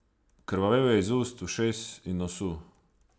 Krvavel je iz ust, ušes in nosu.